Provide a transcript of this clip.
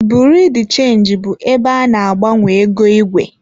Biriu de chenji bụ ebe a na-agbanwe ego igwe.